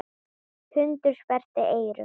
Hundur sperrti eyru.